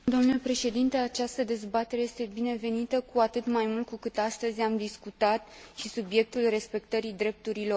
Această dezbatere este binevenită, cu atât mai mult cu cât astăzi am discutat și subiectul respectării drepturilor omului.